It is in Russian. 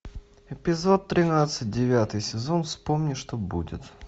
эпизод тринадцать девятый сезон вспомни что будет